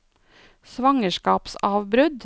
svangerskapsavbrudd